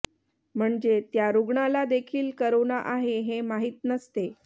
म्हणजे त्या रुग्णाला देखील करोना आहे हे माहीत नसते